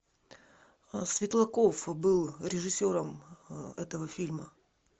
светлаков был режиссером этого фильма